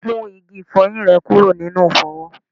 Mú igi ifoyin rẹ kúrò nínú ifowo